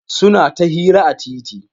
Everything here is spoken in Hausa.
Suna ta hira a titi.